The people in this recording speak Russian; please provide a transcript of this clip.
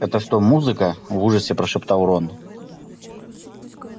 это что музыка в ужасе прошептал рон